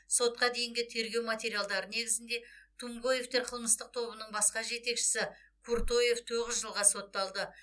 сотқа дейінгі тергеу материалдары негізінде тумгоевтер қылмыстық тобының басқа жетекшісі куртоев тоғыз жылға сотталды